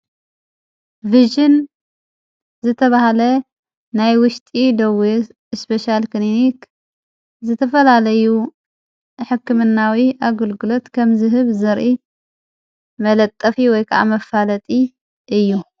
ቭጅን ዝተብሃለ ናይ ውሽጢ ደው እስጴሻያል ክንኒኽ ዝተፈላለዩ ሕክምናዊ ኣግልግሎት ከም ዝህብ ዘርኢ መለጠፊ ወይከዓ መፋለጢ እዩ።